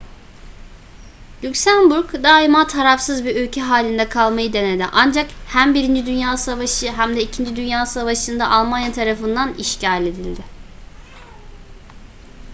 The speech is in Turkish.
lüksemburg daima tarafsız bir ülke halinde kalmayı denedi ancak hem 1. dünya savaşı hem de 2. dünya savaşı'nda almanya tarafından işgal edildi